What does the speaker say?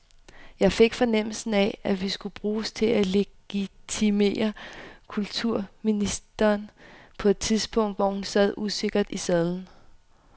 Jeg fik fornemmelsen af, at vi skulle bruges til at legitimere kulturministeren på et tidspunkt, hvor hun sad usikkert i sadlen.